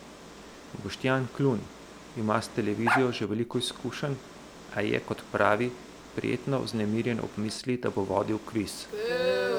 Boštjan Klun ima s televizijo že veliko izkušenj, a je, kot pravi, prijetno vznemirjen ob misli, da bo vodil kviz.